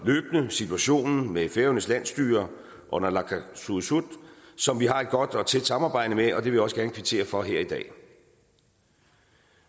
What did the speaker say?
løbende situationen med færøernes landsstyre og naalakkersuisut som vi har et godt og tæt samarbejde med og det vil jeg også gerne kvittere for her i dag